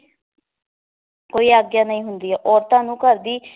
ਕੋਈ ਆਗਿਆ ਨਹੀ ਹੁੰਦੀ ਏ ਔਰਤਾਂ ਨੂੰ ਘਰ ਦੀ